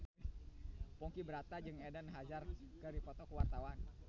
Ponky Brata jeung Eden Hazard keur dipoto ku wartawan